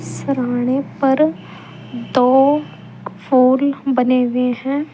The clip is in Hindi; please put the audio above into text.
सरहाने पर दो फूल बने हुए हैं।